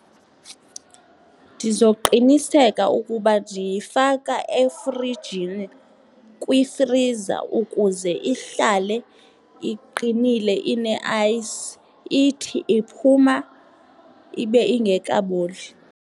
Ndizoqiniseka ukuba ndiyifaka efrijini kwifriza ukuze ihlale iqinile ineayisi, ithi iphuma ibe ingekaboli.